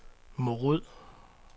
Morud